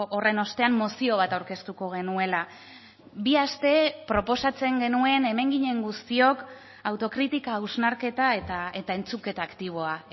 horren ostean mozio bat aurkeztuko genuela bi aste proposatzen genuen hemen ginen guztiok autokritika hausnarketa eta entzuketa aktiboa